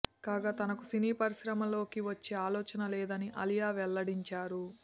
కాగా తనకు సినీ పరిశ్రమలోకి వచ్చే ఆలోచన లేదని ఆలియా వెల్లడించారు